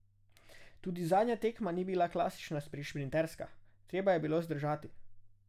Tudi zadnja tekma ni bila klasična šprinterska, treba je bilo zdržati.